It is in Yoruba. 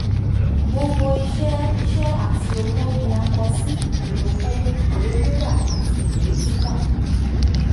gbogbo iṣẹ iṣẹ ati owo ni a kọ si iwe owo iwe rira ati iwe tita.